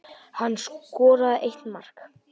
Hann skoraði eitt mark